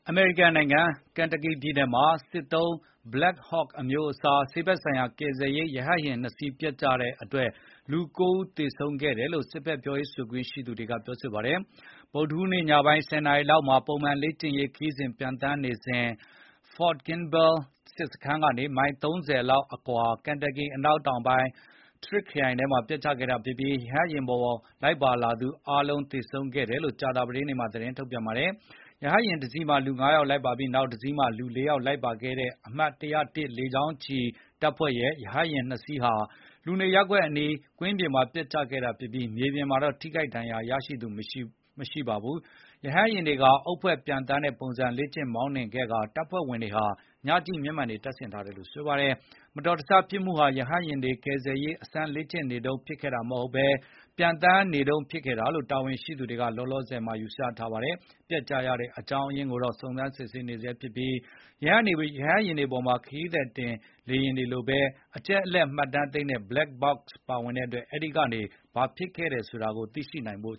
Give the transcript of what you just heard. အမေရိကန်နိုင်ငံ ကန်တာကီပြည်နယ်မှာ စစ်တပ်သုံး Black Hawk အမျိုးအစား ဆေးဘက်ဆိုင်ရာ ကယ်ဆယ်ရေး ရဟတ်ယာဉ် ၂ စီး ပျက်ကျမှုမှာ လူ ၉ ဦး သေဆုံးခဲ့တယ်လို့ စစ်တပ် ပြောရေးဆိုခွင့်ရှိသူက ပြောပါတယ်။ ဗုဒ္ဓဟူးနေ့ ညပိုင်း ၁၀ နာရီ လောက်မှာ ပုံမှန်လေ့ကျင့်ရေးခရီးစဉ် ပျံသန်းနေတုန်း ဖော့ဒ်ကင်းဘဲလ် စစ်စခန်းကနေ မိုင် ၃၀ လောက်အကွာ ကန်တာကီ အနောက်တောင်ပိုင်း ထရစ်ခ်ခရိုင်ထဲ ပျက်ကျခဲ့လို့ ရဟတ်ယာဉ်ပေါ် လိုက်ပါလာသူ အားလုံး သေဆုံးခဲ့တယ်လို့ ကြာသာပတေးနေ့မှာ သတင်းထုတ်ပြန်ပါတယ်။ ရဟတ်ယာဉ်တစီးမှာ လူ ၅ ယောက် ပါပြီး နောက်တစီးမှာ လူ ၄ ယောက် လိုက်ပါလာတဲ့ အမှတ် ၁၀၁ လေကြောင်းချီ တပ်ဖွဲ့ရဲ့ ရဟတ်ယာဉ် ၂ စီးဟာ လူနေရပ်ကွက်အနီးက ကွင်းပြင်မှာ ပျက်ကျခဲ့တာဖြစ်ပြီး မြေပြင်မှာတော့ ထိခိုက်ဒဏ်ရာရသူ မရှိပါဘူး။ ရဟတ်ယာဉ်တွေဟာ အုပ်ဖွဲ့ ပျံသန်းတဲ့ပုံစံ လေ့ကျင့် မောင်းနှင်ခဲ့ကာ တပ်ဖွဲ့ဝင်တွေဟာ ညကြည့်မျက်မှန်တွေ တပ်ဆင်ထားတယ်လို့ ဆိုပါတယ်။ ဒီ မတော်တဆဖြစ်မှုဟာ ရဟတ်ယာဉ်တွေ ကယ်ဆယ်ရေး အစမ်း လေ့ကျင်နေတုန်း ဖြစ်ခဲ့တာ မဟုတ်ဘဲ ပျံသန်းနေတုန်း ဖြစ်ခဲ့တာလို့ တာဝန်ရှိသူတွေက လောလောဆယ် ယူဆထားပါတယ်။ ပျက်ကျရတဲ့ အကြောင်းအရင်းကိုတော့ စုံစမ်းစစ်ဆေးနေဆဲ ဖြစ်ပြီး ရဟတ်ယာဉ်တွေပေါ်မှာ ခရီးသည်တင် လေယာဉ်တွေလိုပဲ အချက်အလက်မှတ်တမ်း သိမ်းဆည်းတဲ့ Black Box တွေ ပါဝင်လို့ အဲဒါကနေ ဘာဖြစ်ခဲ့တယ်ဆိုတာ သိလာနိုင်ဖို့